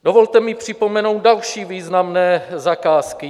Dovolte mi připomenout další významné zakázky.